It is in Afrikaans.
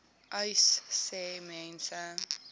uys sê mense